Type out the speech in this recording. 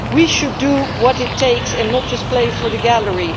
We should do what it takes and not just play to the gallery.